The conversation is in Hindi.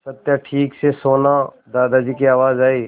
सत्या ठीक से सोना दादाजी की आवाज़ आई